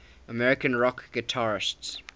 american rock guitarists